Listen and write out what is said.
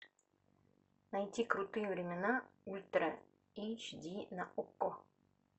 найти крутые времена ультра эйч ди на окко